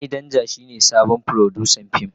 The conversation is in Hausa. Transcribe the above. Sani Danja shine sabon furodusan fim.